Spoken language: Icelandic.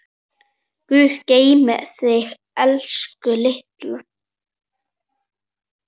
Guð geymi þig, elsku Lilla.